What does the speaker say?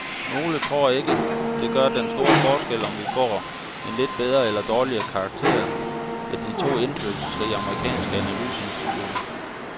Nogle tror ikke, det gør den store forskel, om vi får en lidt bedre eller dårligere karakter af de to indflydelsesrige amerikanske analyseinstitutter.